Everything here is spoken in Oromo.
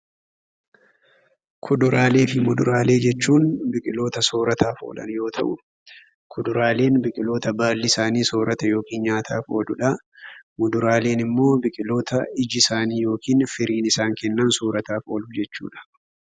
Kuduraaleefi fuduraalee jechuun biqiloota soorrataaf oolan yoo ta'u, kuduraaleen biqiloota baalli isaanii soorrata yookiin nyaataaf ooludha. Muduraaleenimmoo biqiloota iji isaanii yookiin firiin isaan kennan soorataaf oolu jechuudha.